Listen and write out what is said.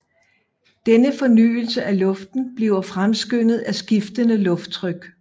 Denne fornyelse af luften bliver fremskyndet af skiftende lufttryk